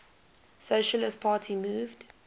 socialist party moved